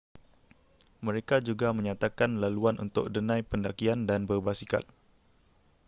mereka juga menyatakan laluan untuk denai pendakian dan berbasikal